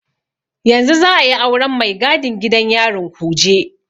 Yau za'a yi auren mai gadin gidan yarin Kuje.